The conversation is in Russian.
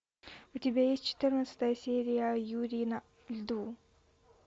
у тебя есть четырнадцатая серия юрий на льду